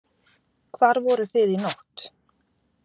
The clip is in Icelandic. Fréttamaður: Hvar voruð þið í nótt?